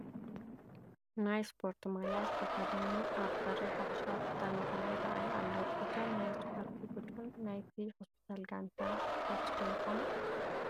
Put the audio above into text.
ናይ ስፖርቲ ማልያ ዝተኸደሉ ኣብ በሪ ሓፈሻዊ ሆስፒታል መቐለ ይርአዩ ኣለዉ፡፡ እዞም ናይ ስፖርቲ ቡዱን ናይቲ ሆስፒታል ጋንታ ስፖርቲ ዶ ይኾኑ?